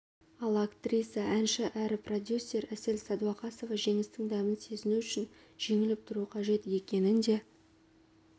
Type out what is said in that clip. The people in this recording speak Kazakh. ал актриса әнші әрі продюсер әсел сәдуақасова жеңістің дәмін сезіну үшін жеңіліп тұру қажет екенін де